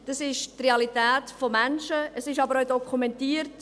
Das ist die Realität von Menschen, es ist aber auch dokumentiert.